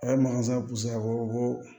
A ye mankan a ko ko